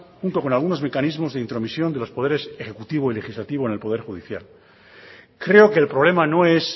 junto con algunos mecanismos de intromisión de los poderes ejecutivo y legislativo en el poder judicial creo que el problema no es